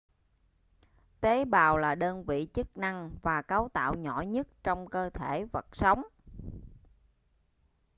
tế bào là đơn vị chức năng và cấu tạo nhỏ nhất trong cơ thể vật sống